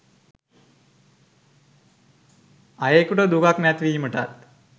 අයකුට දුකක් නැති වීමටත්